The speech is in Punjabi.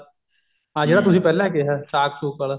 ਆ ਜਿਹੜਾ ਤੁਸੀਂ ਪਹਿਲਾਂ ਕਿਹਾ ਸਾਕ ਸੁਕ ਆਲਾ